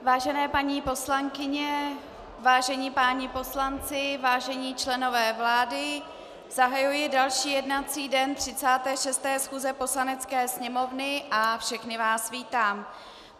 Vážené paní poslankyně, vážení páni poslanci, vážení členové vlády, zahajuji další jednací den 36. schůze Poslanecké sněmovny a všechny vás vítám.